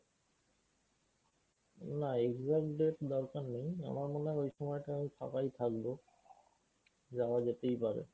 না exact date দরকার নেই আমার মনে হয় ঐ সময়টা আমি ফাঁকাই থাকবো। যাওয়া যেতেই পারে।